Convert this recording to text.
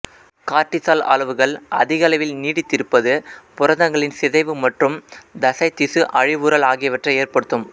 cortisol அளவுகள் அதிகளவில் நீடித்திருப்பது புரதங்களின் சிதைவு மற்றும் தசை திசு அழிவுறல் ஆகியவற்றை ஏற்படுத்தும்